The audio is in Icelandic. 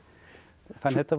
þannig að þetta var